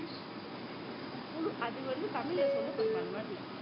அது வந்து தமிழ்ல சொல்லப்படுமா அந்த மாதிரி